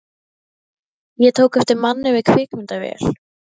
Ég tók eftir manni með kvikmyndavél.